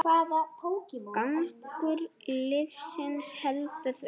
Gangur lífsins heldur því áfram.